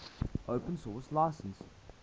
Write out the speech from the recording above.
open source license